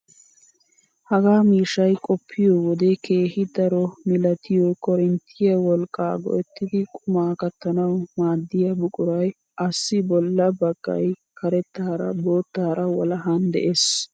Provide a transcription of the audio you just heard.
Hagaa miishshay qoppiyoo wode keehi daro milatiyoo korinttiyaa wolqqaa go"ettidi qumaa kattanawu maaddiyaa buquray asssi bolla baggay karettaara boottaara walahan de'ees!